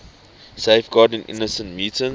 safeguarding innocent mutants